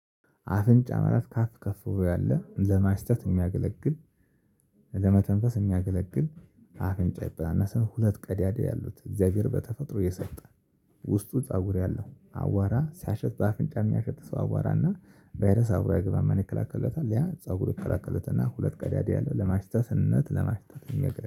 አፍንጫ ማለት ከአፍ ከፍ ከፍ ብዬ ያለ ለማሽተት የሚያገለግል ለመተንፈስ የሚያገለግል አፍንጫ ይባላል። ሰው ሁለት ቀዳዳ ያሉት እግዚአብሔር በተፈጥሮ እየሰጠ ውስጡ ፀጉር ያለው አዋራ ሲያሸት በአፍንጫ የሚያሸት ሰው አዋራ እና ቫይረስ አብሮ አይገባም ማን ይከላከልለታል ያ ፀጉር ይከላከልለታል። እና ሁለት ቀዳዳ ያለው ለማሽተትንነት ለማሽታ